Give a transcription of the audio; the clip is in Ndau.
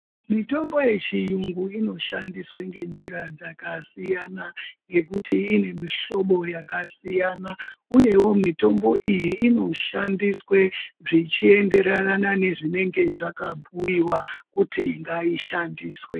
Mitombo yechiyungu inoshandiswe ngenjira dzakasiyana ngekuti ine mihlobo dzakasiyana uyewo mitombo iyi inoshandiswe zvichienderane nezvinenge zvakabhiiwa kuti ngaishandiswe.